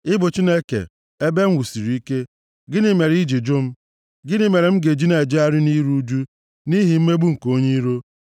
Ị bụ Chineke, ebe m e wusiri ike. Gịnị mere i ji jụ m? Gịnị mere m ga-eji na-ejegharị nʼiru ụjụ, nʼihi mmegbu nke onye iro?